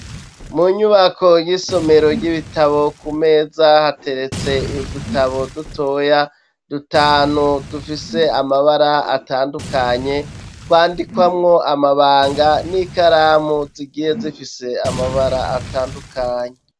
Mu nyubako y'isomero ry'ibitabo, ku meza hateretse udutabo dutoya dutanu, dufise amabara atandukanye, twandikwamwo amabanga n'ikaramu zigiye zifise amabara atandukanye.